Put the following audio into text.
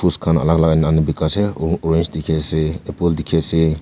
fruits khan alak alak anina bekai asa orange dekhi asa apple dekhi asa.